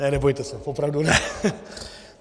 Ne, nebojte se, opravdu ne.